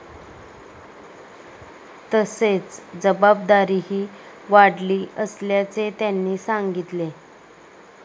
तसेच जबाबदारीही वाढली असल्याचे त्यांनी सांगितले.